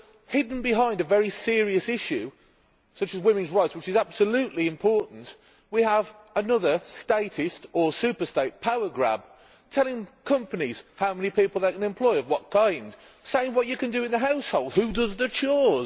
Hidden behind a very serious issue such as women's rights which is absolutely important we have another statist or super state power grab telling companies how many people they can employ and what kind, saying what you can do in the household and who does the chores.